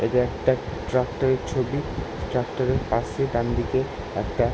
এইটা একটা ট্রাক্টর -এর ছবি। ট্রাক্টর -এর পাশে ডানদিকে একটা--